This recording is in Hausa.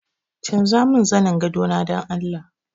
Canjamin zanin gadona dan Allah!